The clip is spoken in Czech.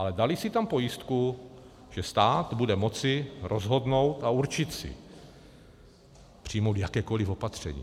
Ale dali si tam pojistku, že stát bude moci rozhodnout a určit si, přijmout jakékoli opatření.